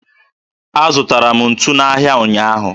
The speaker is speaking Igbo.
Azụtara m ntu n'ahịa ụnyaahụ